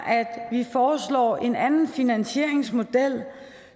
at vi foreslår en anden finansieringsmodel